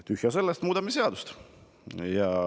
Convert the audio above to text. Tühja sellest, muudame seadust!